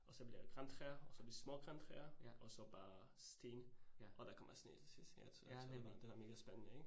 Og så bliver det grantræer, og så de små grantræer og så bare sten, og der kommer sne til sidst så det da mega spændende ik?